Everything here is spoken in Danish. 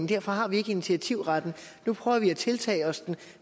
derfor har vi ikke initiativretten nu prøver vi at tiltage os den